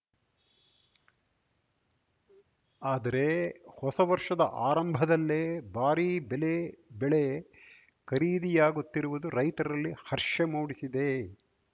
ಆದರೆ ಹೊಸ ವರ್ಷದ ಆರಂಭದಲ್ಲೇ ಭಾರೀ ಬೆಲೆ ಬೆಳೆ ಖರೀದಿಯಾಗುತ್ತಿರುವುದು ರೈತರಲ್ಲಿ ಹರ್ಷ ಮೂಡಿಸಿದೆ